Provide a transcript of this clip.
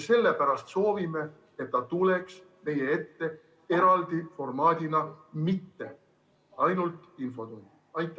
Sellepärast me soovime, et ta tuleks meie ette kasutades eraldi formaati, mitte ainult infotunnis.